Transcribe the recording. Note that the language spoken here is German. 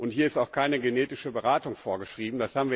Hier ist auch keine genetische Beratung vorgeschrieben.